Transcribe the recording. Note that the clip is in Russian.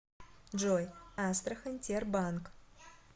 джой астрахань тербанк